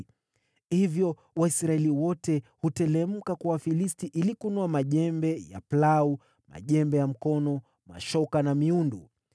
Hivyo Waisraeli wote huteremka kwa Wafilisti ili kunoa majembe ya plau, majembe ya mkono, mashoka na miundu.